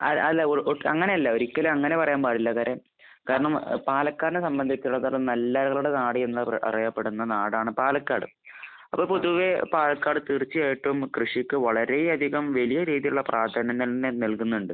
അ അല്ല. ഒ അങ്ങനെയല്ല. ഒരിക്കലും അങ്ങനെ പറയാൻ പാടില്ല. കാരണം പാലക്കാടിനെ സംബന്ധിച്ചിടത്തോളം നെല്ലറകളുടെ നാട് എന്ന് അറിയപ്പെടുന്ന നാടാണ് പാലക്കാട്. അപ്പോൾ പൊതുവെ പാലക്കാട് തീർച്ചയായിട്ടും കൃഷിക്ക് വളരെ അധികം വലിയ രീതിയിലുള്ള പ്രാധാന്യം തന്നെ നൽകുന്നുണ്ട്.